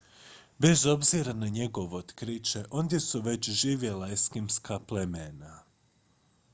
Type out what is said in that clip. bez obzira na njegovo otkriće ondje su već živjela eskimska plemena